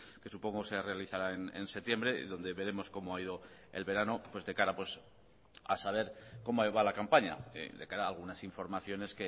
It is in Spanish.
que supongo se realizará en septiembre donde veremos cómo ha ido el verano de cara a saber cómo va la campaña de cara a algunas informaciones